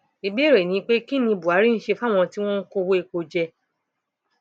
ìbéèrè ni pé kín ni buhari ń ṣe fáwọn tí wọn ń kó owó epo jẹ